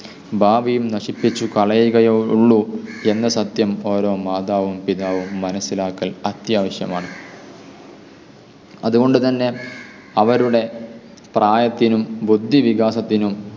ഭാവിയും നശിപ്പിച്ചു കളയുകയേയുള്ളു എന്ന സത്യം ഓരോ മാതാവും പിതാവും മനസ്സിലാക്കൽ അത്യാവശ്യമാണ്. അതുകൊണ്ടുതന്നെ അവരുടെ പ്രായത്തിനും ബുദ്ധിവികാസത്തിനും